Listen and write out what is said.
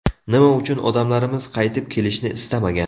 Nima uchun odamlarimiz qaytib kelishni istamagan?